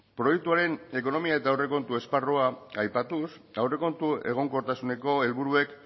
proiektuaren ekonomia eta aurrekontu esparrua aipatuz aurrekontu egonkortasuneko helburuek